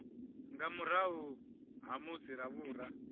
nga murahu ha musi ravhura